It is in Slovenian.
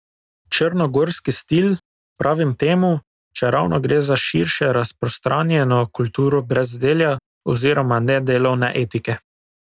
Črnogorski stil, pravim temu, čeravno gre za širše razprostranjeno kulturo brezdelja oziroma nedelovne etike.